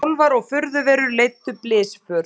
Álfar og furðuverur leiddu blysför